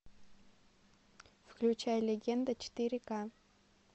включай легенда четыре ка